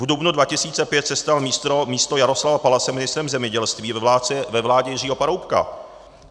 V dubnu 2005 se stal místo Jaroslava Palase ministrem zemědělství ve vládě Jiřího Paroubka.